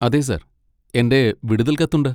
അതെ സർ. എന്റെ വിടുതൽ കത്ത് ഉണ്ട്.